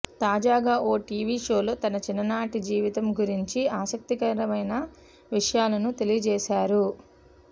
తాజాగా ఓ టీవీ షోలో తన చిన్ననాటి జీవితం గురించి ఆసక్తికరమైన విషయాలను తెలియజేశారు